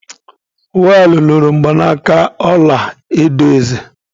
Wal loro mgbanaka ọla edo eze